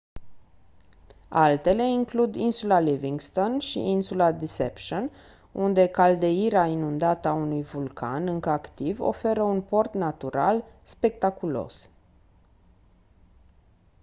altele includ insula livingstone și insula deception unde caldeira inundată a unui vulcan încă activ oferă un port natural spectaculos